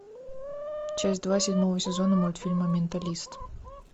часть два седьмого сезона мультфильма менталист